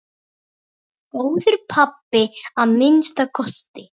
Góður pabbi að minnsta kosti.